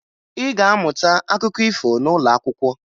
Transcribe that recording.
Ị ga-amụta akụkọ ifo n'ụlọ akwụkwọ